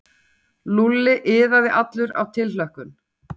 Lúlli iðaði allur af tilhlökkun.